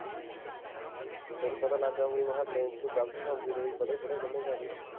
ਤੈਨੂੰ ਪਤਾ ਲੱਗ ਗਿਆ ਹੋਊਗਾ ਤੂੰ ਗਲਤ ਹੀ ਸਮਝੀ ਜਾਣੇ ਵੀ ਪੜ੍ਹੇ ਪੂੜੇ ਕਿੰਨੇ ਕੁ ਆ ਅਸੀਂ